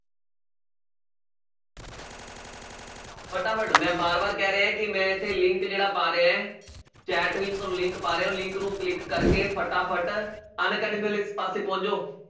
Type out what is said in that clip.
ਫਟਾਫਟ ਮੈਂ ਵਾਰ ਵਾਰ ਕਹਿ ਰਿਹਾਂ ਕਿ ਮੈਂ ਇੱਥੇ link ਜਿਹੜਾ ਪਾ ਰਿਹਾ ਹੈ chat ਵਿੱਚ ਤੁਹਾਨੂੰ link ਪਾ ਰਿਹਾਂ ਉਹ link ਨੂੰ click ਕਰਕੇ ਫਟਾਫਟ ਅਨਅਕੈਡਮੀ ਵਾਲੇ ਪਾਸੇ ਪਹੁੰਚ ਜਾਓ